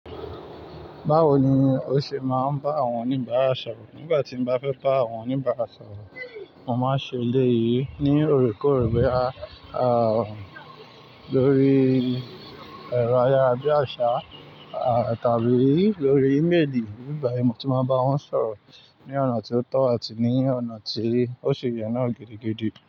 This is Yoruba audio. Báwo ni o ṣe máa ń bá àwọn oníbàárà sọ̀rọ̀? Nígbà tí mo bá fẹ́ bá àwọn oníbàárà sọ̀rọ̀, mo máa ń ṣe eléyìí ní òrékòórè bóyá a, lórí ẹ̀rọ ayárabiàṣá a tàbí lórí ímelì. Bí bá yi, mo ti máa bá wọn sọ̀rọ̀ ní ọ̀nà tí ó tọ́ àti ní ọ̀nà tí ó ṣe yẹ náà gidigidi.